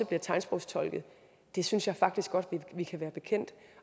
bliver tegnsprogstolket det synes jeg faktisk godt vi kan være bekendt